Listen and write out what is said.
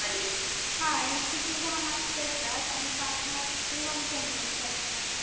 हा Insecu दहा mark चे असतात, आणि पाच mark चे one Sentence असतात.